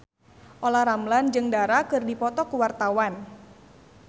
Olla Ramlan jeung Dara keur dipoto ku wartawan